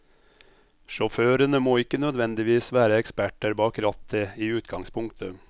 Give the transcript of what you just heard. Sjåførene må ikke nødvendigvis være eksperter bak rattet i utgangspunktet.